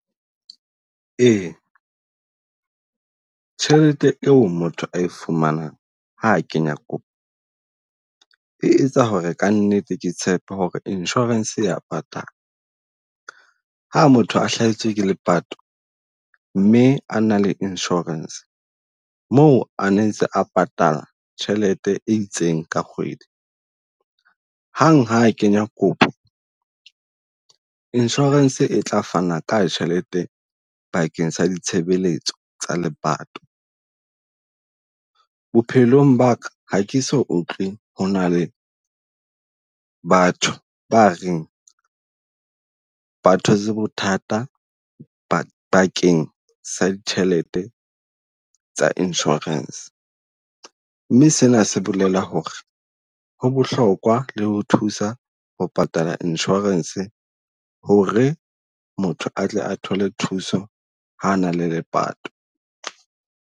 Ee tjhelete e o motho a e fumanang ha kenya kopo, e etsa ho re kannete ke tshepe ho re insurance e ya patala. Ha motho a hlasetswe ke lepato mme a na le insurance, moo a ne ntse a patala tjhelete e itseng ka kgwedi. Hang ha kenya kopo insurance e tla fana ka tjhelete bakeng sa ditshebeletso tsa lepato. Bophelong ba ka ha ke so utlwe ho na le batho ba reng ba thotse bothata bakeng sa ditjhelete tsa insurance. Mme sena se bolela ho re ho bohlokwa le ho thusa ho patala insurance ho re motho atle a thole thuso ha a na le lepato.